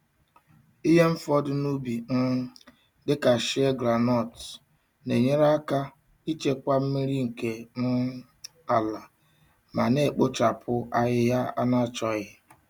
Ihe mfọdu n'ubi um dị ka shei groundnut na-enyere aka ichekwa mmiri nke um ala ma na-ekpochapụ ahịhịa na-achọghị.